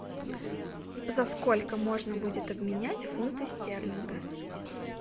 за сколько можно будет обменять фунты стерлинга